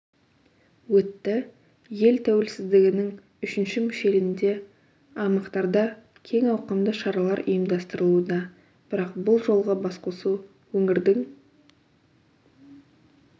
өтті ел тәуелсіздігінің үшінші мүшелінде аймақтарда кең ауқымды шаралар ұйымдастырылуда бірақ бұл жолғы басқосу өңірдің